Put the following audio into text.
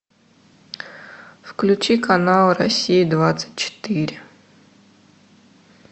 включи канал россия двадцать четыре